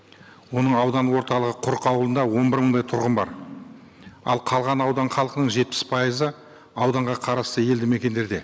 оның аудан орталығы құрық ауылында он бір мыңдай тұрғын бар ал қалған аудан халқының жетпіс пайызы ауданға қарасты елді мекендерде